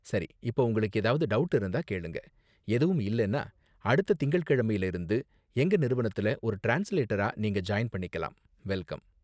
சரி, இப்ப உங்களுக்கு ஏதாவது டவுட் இருந்தா கேளுங்க, எதுவும் இல்லன்னா அடுத்த திங்கள்கிழமையில இருந்து எங்க நிறுவனத்துல ஒரு டிரான்ஸ்லேட்டரா நீங்க ஜாயின் பண்ணிக்கலாம். வெல்கம்.